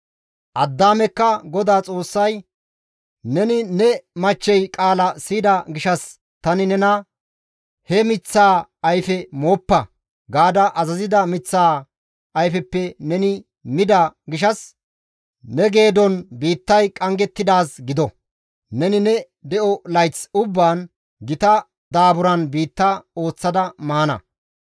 Addaamekka GODAA Xoossay, «Neni ne machchey qaala siyida gishshas tani nena, ‹He miththaa ayfe mooppa› gaada azazida miththaa ayfeppe neni mida gishshas, «Ne geedon biittay qanggettidaaz gido! Neni ne de7o layth ubbaan gita daaburan biitta ooththada maana.